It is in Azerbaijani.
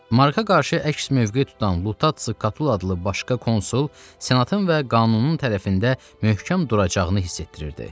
Marka qarşı əks mövqe tutan Lutats Katul adlı başqa konsul senatın və qanunun tərəfində möhkəm duracağını hiss etdirirdi.